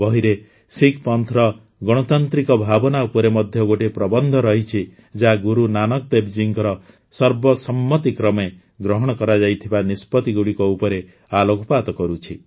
ବହିରେ ଶିଖ୍ ପନ୍ଥର ଗଣତାନ୍ତ୍ରିକ ଭାବନା ଉପରେ ମଧ୍ୟ ଗୋଟିଏ ପ୍ରବନ୍ଧ ରହଛି ଯାହା ଗୁରୁ ନାନକ ଦେବଜୀଙ୍କ ସର୍ବସମ୍ମତିକ୍ରମେ ଗ୍ରହଣ କରାଯାଇଥିବା ନିଷ୍ପତିଗୁଡ଼ିକ ଉପରେ ଆଲୋକପାତ କରୁଛି